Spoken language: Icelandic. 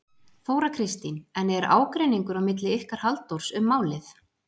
Þóra Kristín: En er ágreiningur á milli ykkar Halldórs um málið?